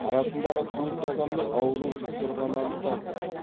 арасындағы төрт адамның ауру жұқтырғаны анықталды